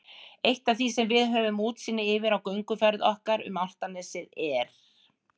Eitt af því sem við höfum útsýn yfir á gönguferð okkar um Álftanes er